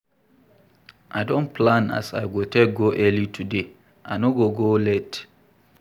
I don plan as I go take go early today, l no go go late.